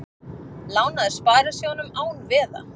Lánaði sparisjóðum án veða